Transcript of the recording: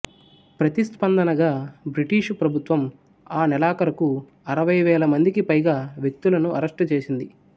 ప్రతిస్పందనగా బ్రిటిషు ప్రభుత్వం ఆ నెలాఖరుకు అరవై వేల మందికి పైగా వ్యక్తులను అరెస్టు చేసింది